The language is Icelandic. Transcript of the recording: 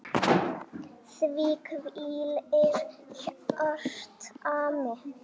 Þar hvílir hjarta mitt.